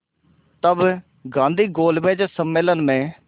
तब गांधी गोलमेज सम्मेलन में